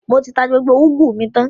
Mo ti tà gbogbo ugwu mi tan